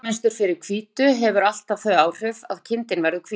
Litamynstur fyrir hvítu hefur alltaf þau áhrif að kindin verður hvít.